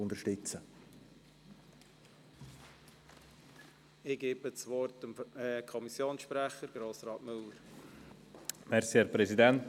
Ich gebe dem Kommissionssprecher der BaK, Grossrat Müller, das Wort.